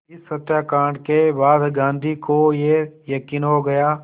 इस हत्याकांड के बाद गांधी को ये यक़ीन हो गया